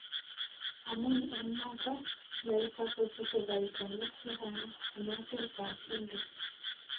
amun eng nato, naito kosiche koitonik chechang en otet ap hindus